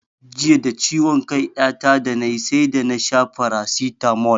Jiya da ciwon kai ya ta da ni sai da na sha farasitamol